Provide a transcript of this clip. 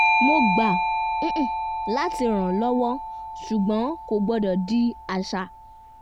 mo gbà láti rànlọ́wọ́ ṣùgbọ́n kò gbọdọ̀ di àṣà